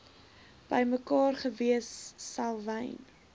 bymekaar gewees selwyn